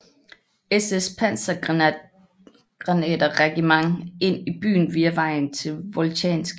SS pansergrenaderregiment ind i byen via vejen til Voltjansk